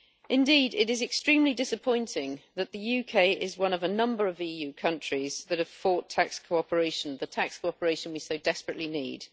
Indeed, it is extremely disappointing that the UK is one of a number of EU countries that have fought tax cooperation, the tax cooperation we so desperately need.